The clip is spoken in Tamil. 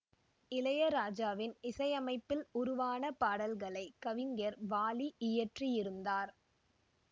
இளையராஜாவின் இசையமைப்பில் உருவான பாடல்களை கவிஞர் வாலி இயற்றியிருந்தார்